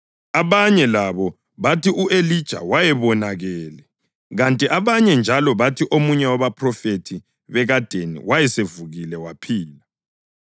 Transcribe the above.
abanye labo bathi u-Elija wayebonakele, kanti abanye njalo bathi omunye wabaphrofethi bekadeni wayesevukile waphila.